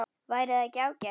Væri það ekki ágætt?